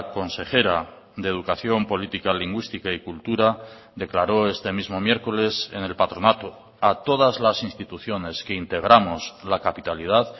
consejera de educación política lingüística y cultura declaró este mismo miércoles en el patronato a todas las instituciones que integramos la capitalidad